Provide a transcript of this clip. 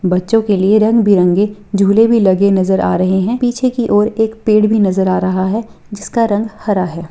बच्चों के लिए रंग बिरंगे झूले भी लगे नजर आ रहे हैं पीछे की और एक पेड़ भी नजर आ रहा है जिसका रंग हरा है।